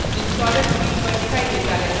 installer screen पर दिखाई देता है